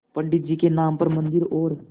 पंडित जी के नाम पर मन्दिर और